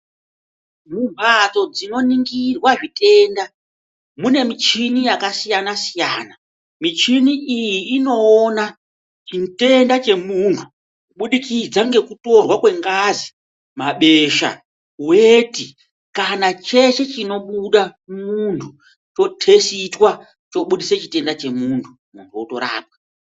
Mumhatso dzinoningirwa zvitenda, mune michini yakasiyana -siyana. Michini iyi inogona chitenda chemunhu kubudikidza ngekutorwa kwengazi, mabesha, weti kana cheshe chinobuda mumuntu chotesitwa chobudisa chitenda chemuntu, muntu otorapwa.